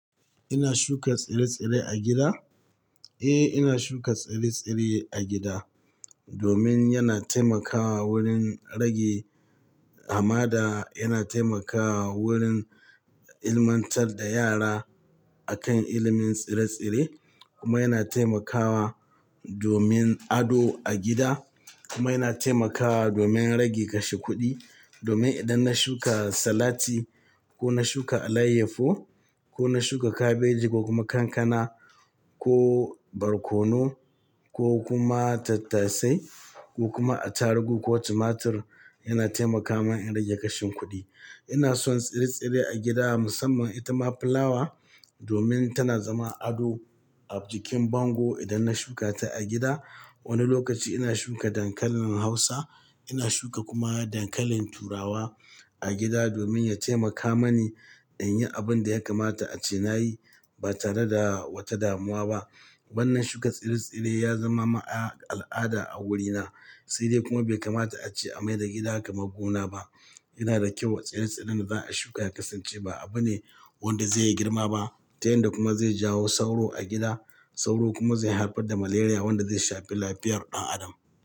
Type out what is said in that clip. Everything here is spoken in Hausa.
Ina shuka tsire-tsire a gida? Eh, ina shuka tsire-tsire a gida domin yana taimakawa wurin rage hamada, yana taimakawa wurin ilmantar da yara akan ilimin tsire-tsire kuma yana taimakawa domin ado a gida kuma yana taimakawa domin rage kashe kuɗi. Domin idan na shuka salati ko na shuka alayyahu ko na shuka kabeji ko kuma kankana ko barkono ko kuma tattasai ko kuma atarugu ko tumatur, yana taimaka min in rage kashin kuɗi. Ina son tsire-tsire a gida musamman itama fulawa domin tana zama ado a jikin bango idan na shuka ta a gida. Wani lokaci ina shuka dankalin Hausa, ina shuka kuma dankalin Turawa a gida domin ya taimaka mani in yi abin da ya kamata a ce na yi ba tare da wata damuwa ba. Wannan shuka tsire-tsire ya zama ma al'ada a wurina. Sede kuma bai kamata a ce a mai da gida kamar gona ba. Yana da kyau wa tsire-tsiren da za'a shuka ya kasance ba abu ne wanda zai yi girma ba, ta yanda kuma zai jawo sauro a gida. Sauro kuma zai haifar da maleriya wanda zai shafi lafiyar ɗan adam.